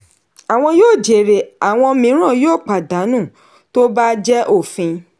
àwọn yóò jèrè àwọn mìíràn yóò pàdánù tó bá jẹ òfin.